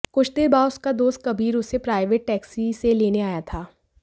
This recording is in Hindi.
कुछ देर बाद उसका दोस्त कबीर उसे प्राइवेट टेक्सी से लेने आया था